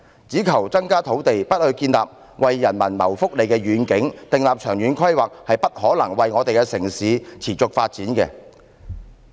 只求增加土地，而不建立為人民謀福利的願景或訂立長遠規劃，城市是不可能持續發展的。